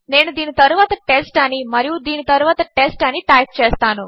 నేనుదీనితరువాత test అనిమరియుదీనితరువాత test అనిటైప్చేస్తాను